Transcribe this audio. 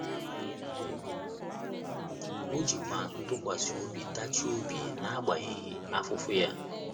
O jikwa ikwesị ntụkwasị obi tachie obi n’agbanyeghị afụfụ ya.